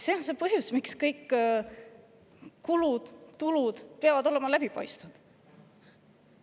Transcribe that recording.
See on põhjus, miks kõik kulud ja tulud peavad olema läbipaistvad.